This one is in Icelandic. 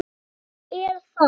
Já, það er það.